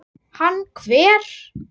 Hann hver?